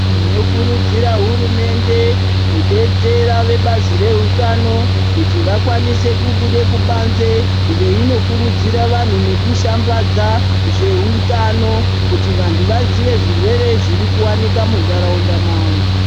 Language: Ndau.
Tinokurudzira hurumende kudetsera vehutano kuti vakwanise kubude kubanze veinokurudzira vanhu nekushambadza, zveutano kuti vantu vazive zvirwere zviri kuwanika muntaraunda mavo.